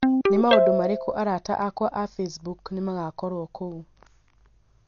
Nĩ maũndũ marĩkũ arata akwa a facebook nĩ magakorũo kuo